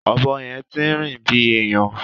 Ọ̀bọ yẹn ti ń rìn bí èèyàn.